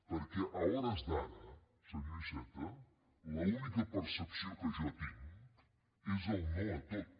perquè a hores d’ara senyor iceta l’única percepció que jo tinc és el no a tot